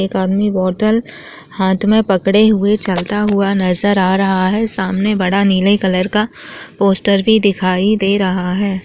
एक आदमी बोतल हाथ मे पकड़े हुए चलते हुए नजर आ रहा है सामने बड़ा नीले कलर का पोस्टर भी दिखाई दे रहा है।